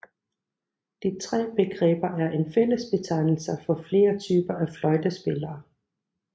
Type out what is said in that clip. De tre begreber er en fællesbetegnelser for flere typer af fløjtespillere